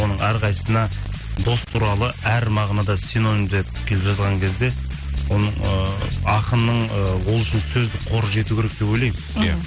оның әрқайсысына дос туралы әр мағынада синонимдеп келіп жазған кезде оның ыыы ақынның ы ол үшін сөздік қоры жету керек деп ойлаймын мхм